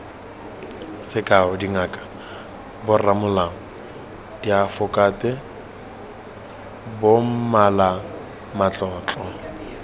sekao dingaka boramolao diafokate bommalamatlotlo